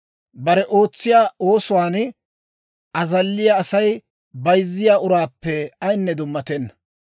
Bare ootsiyaa oosuwaan azalliyaa Asay bayzziyaa uraappe ayinne dummatenna.